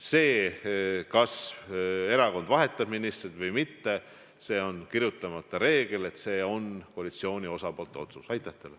See, kas erakond vahetab ministreid välja või mitte – on kirjutamata reegel, et see on koalitsiooni osapoolte otsus.